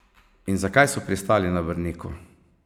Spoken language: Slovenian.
In zakaj so pristali na Brniku?